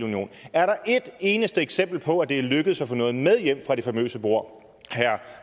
er der et eneste eksempel på at det er lykkedes at få noget med hjem fra det famøse bord herre